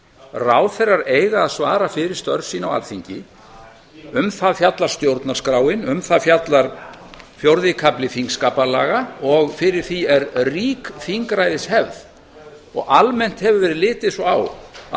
ráðherrar eiga að svara fyrir störf sín á alþingi um það fjallar stjórnarskráin um það fjallar fjórði kafli þingskapalaga og fyrir því er rík þingræðishefð og almennt hefur verið litið svo á að